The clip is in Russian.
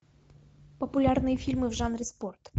популярные фильмы в жанре спорт